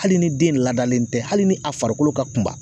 Hali ni den ladalen tɛ hali ni a farikolo ka kunba